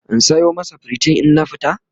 in Sayo masa pritin in na fita?